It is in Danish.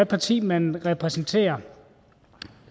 parti man repræsenterer